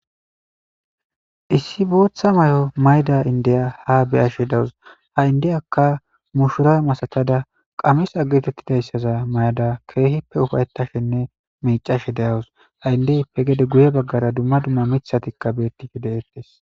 Issi booththa may'o mayda indiya ha beyashe dawus ha indiyakka mushura masatada qames agetettidayssaza may'ada keehippe ufayettashenne miicashe deyawus haindeyppe gede guye baggara dumma dumma mithatikka beettife de'ettes.